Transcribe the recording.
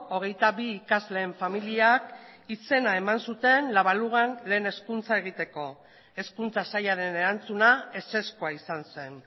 hogeita bi ikasleen familiak izena eman zuten la baluga lehen hezkuntza egiteko hezkuntza sailaren erantzuna ezezkoa izan zen